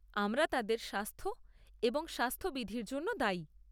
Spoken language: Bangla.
আমরা তাদের স্বাস্থ এবং স্বাস্থবিধির জন্য দায়ী।